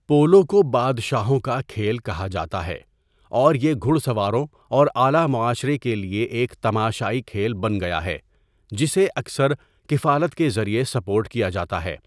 Polo کو 'بادشاہوں کا کھیل' کہا جاتا ہے، اور یہ گھڑ سواروں اور اعلیٰ معاشرے کے لیے ایک تماشائی کھیل بن گیا ہے، جسے اکثر کفالت کے ذریعے سپورٹ کیا جاتا ہے۔